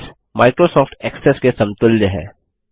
base Microsoft Access के समतुल्य है